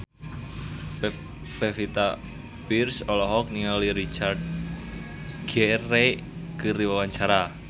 Pevita Pearce olohok ningali Richard Gere keur diwawancara